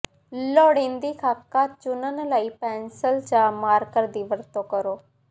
ਲੋੜੀਦੀ ਖਾਕਾ ਚੁਣਨ ਲਈ ਪੈਨਸਿਲ ਜਾਂ ਮਾਰਕਰ ਦੀ ਵਰਤੋਂ ਕਰੋ